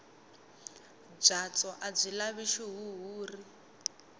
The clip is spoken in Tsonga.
byatso a byi lavi xihuhuri